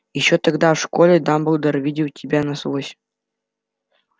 ещё тогда в школе дамблдор видел тебя насквозь